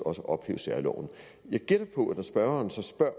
ophæve særloven jeg gætter på at når spørgeren spørger